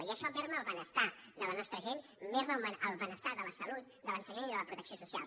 i això minva el benestar de la nostra gent minva el benestar de la salut de l’ensenyament i de la protecció social